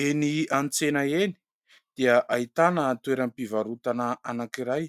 Eny an-tsena eny, dia ahitana toeram-pivarotana anankiray,